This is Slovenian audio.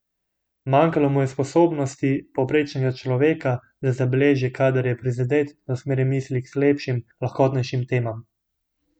Manjkalo mu je sposobnosti povprečnega človeka, da zbeži, kadar je prizadet, da usmeri misli k lepšim, lahkotnejšim temam.